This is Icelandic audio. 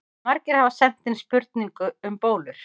Margir hafa sent inn spurningu um bólur.